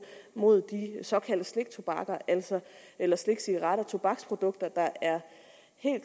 mod de såkaldte sliktobakker eller slikcigaretter altså tobaksprodukter